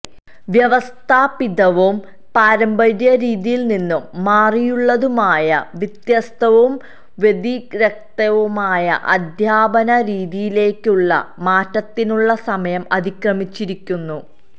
വ്യവസ്ഥാപിതവും പാരമ്പര്യ രീതിയിൽ നിന്നും മാറിയുള്ളതുമായ വ്യത്യസ്തവും വ്യതിരിക്തവുമായ അധ്യാപന രീതിയിലേയ്ക്കുള്ള മാറ്റത്തിനുള്ള സമയം അതിക്രമിച്ചിരിക്കുന്നു